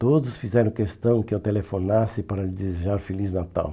Todos fizeram questão que eu telefonasse para lhe desejar Feliz Natal.